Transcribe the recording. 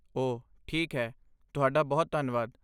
ਓਹ ਠੀਕ ਹੈ, ਤੁਹਾਡਾ ਬਹੁਤ ਧੰਨਵਾਦ।